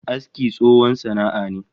Aski tsohon sana'a ne